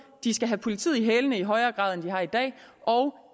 de skal have politiet i hælene i højere grad end de har i dag og